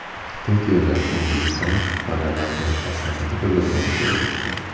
Tokioda O‘zbekiston madaniyati va san’ati ko‘rgazmasi bo‘lib o‘tdi.